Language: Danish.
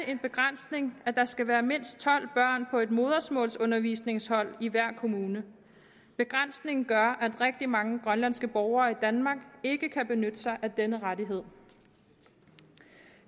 en begrænsning at der skal være mindst tolv børn på et modersmålsundervisningshold i hver kommune begrænsningen gør at rigtig mange grønlandske borgere i danmark ikke kan benytte sig af denne rettighed